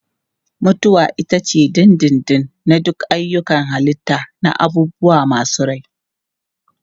Mutuwa ita ce ta dindindin na duk ayyukan halitta na abubuwa masu rai.